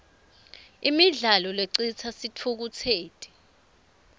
imidlalo lecitsa sitfukutseti